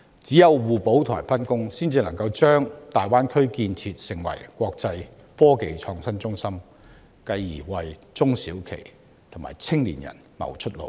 唯有互補和分工，才能將大灣區建設成為國際科技創新中心，繼而為中小企和青年人謀出路。